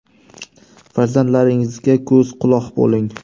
Farzandlaringizga ko‘z-quloq bo‘ling.